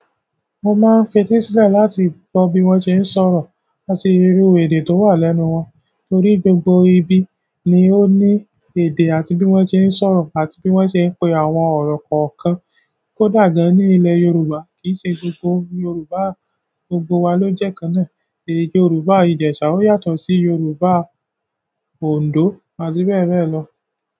Mo máa ń fetí sílẹ̀ láti gbọ́ bí wọ́n ṣe ń sọ̀rọ̀ àti irú èdè tó wà lẹ́nu wọn. Nítorí gbogbo ibi ni ó ní èdè àti bí wọ́n ṣe ń sọ̀rọ̀ àti bí wọ́n ṣe ń pe àwọn ọ̀rọ̀ kọ̀ọ̀kan. Kódà gan ní ilẹ̀ Yorùbá kì í ṣe gbogbo Yorùbá gbogbo wa ló jẹ́ kan náà. Yorùbá ijesa yàtọ̀ si yorùbá Ondo àti bẹ́ẹ̀ bẹ́ẹ̀ lọ.